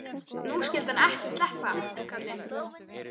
Nú skyldi hann ekki sleppa, karlinn.